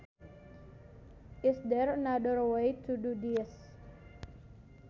Is there another way to do this